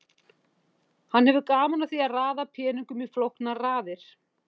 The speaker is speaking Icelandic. Hann hefur gaman af því að raða peningum í flóknar raðir.